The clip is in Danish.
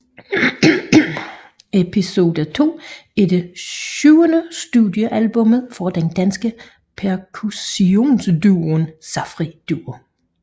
Episode II er det syvende studiealbum fra den danske percussionduo Safri Duo